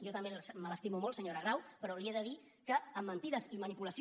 jo també me l’estimo molt senyora grau però li he de dir que amb mentides i manipulació